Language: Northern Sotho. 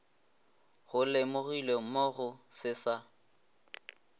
go lemogilwe mogo se sa